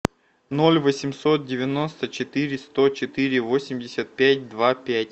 ноль восемьсот девяносто четыре сто четыре восемьдесят пять два пять